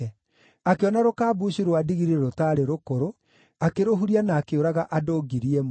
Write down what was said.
Akĩona rũkambucu rwa ndigiri rũtaarĩ rũkũrũ, akĩrũhuria na akĩũraga andũ ngiri ĩmwe.